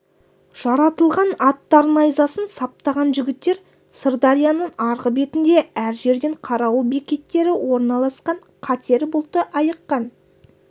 жаратылған аттар найзасын саптаған жігіттер сырдарияның арғы бетінде әр жерден қарауыл бекеттері орналасқан қатер бұлты айыққан